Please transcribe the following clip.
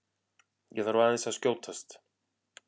ÉG ÞARF AÐEINS AÐ SKJÓTAST!